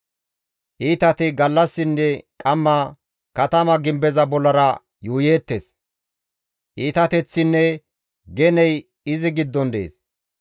Iitati gallassinne qamma katama gimbeza bollara yuuyeettes; iitateththinne geney izi giddon dees.